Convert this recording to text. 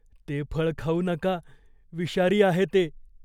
ते फळ खाऊ नका. विषारी आहे ते.